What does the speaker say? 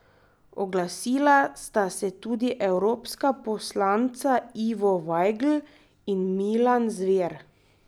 Oglasila sta se tudi evropska poslanca Ivo Vajgl in Milan Zver.